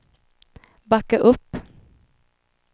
backa upp